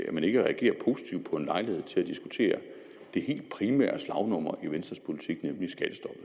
at man ikke reagerer positivt på en lejlighed til at diskutere det helt primære slagnummer i venstres politik nemlig skattestoppet